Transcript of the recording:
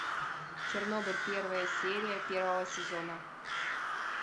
чернобыль первая серия первого сезона